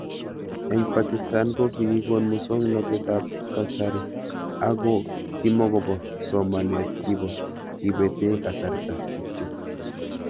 Eng' Pakistan ko kikikon muswog'natet ab kasari ako kimukopo somanaet kipo kepete kasarta kityo